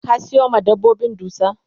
ka Sayo ma dabbobin dusa?